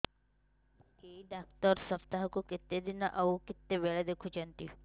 ଏଇ ଡ଼ାକ୍ତର ସପ୍ତାହକୁ କେତେଦିନ ଆଉ କେତେବେଳେ ଦେଖୁଛନ୍ତି